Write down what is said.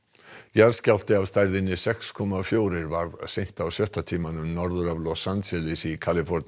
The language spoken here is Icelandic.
jarðskjálfti af stærðinni sex komma fjögur varð seint á sjötta tímanum norður af Los Angeles í Kaliforníu